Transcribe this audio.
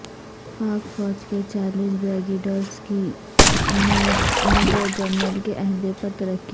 پاک فوج کے چالیس بریگیڈیئرز کی میجر جنرل کے عہدے پر ترقی